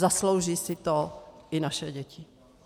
Zaslouží si to i naše děti.